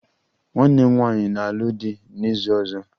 Nwanne m nwanyị na-alụ di n'izu ọzọ